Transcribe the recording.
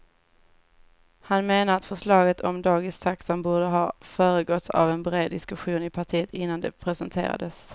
Han menar att förslaget om dagistaxan borde ha föregåtts av en bred diskussion i partiet innan det presenterades.